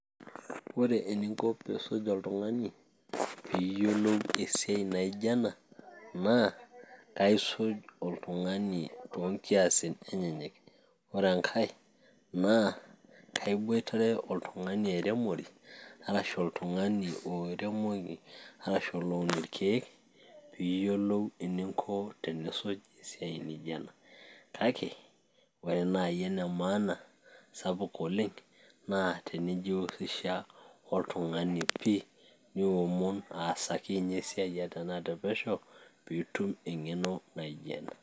ore eninko piisuj oltung'ani piiyiolou esiai naijo ena naa kaisuj oltung'ani toonkiasin enyeyek ore enkay naa kaiboitare oltung'ani airemori arashu oltung'ani oiremoki, arashu oloun irkeek piiyiolou eninko tenisuj esiai nijo ena kake ore naaji ene maana sapuk oleng naa tenijihusisha oltung'ani pii niomon aasaki ninye esiaio ata tenaa tepesho piitum eng'eno naijo ena.